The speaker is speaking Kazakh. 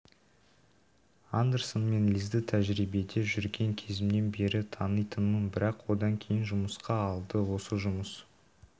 андерсон мен лизді тәжірибеде жүрген кезімнен бері танитынмын бірақ одан кейін жұмысқа алды осы жұмыс